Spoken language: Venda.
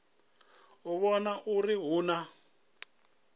u vhona uri hu na